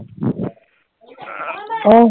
অ